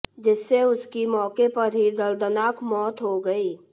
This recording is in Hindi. जिससे उसकी मौके पर ही दर्दनाक मौत हो गई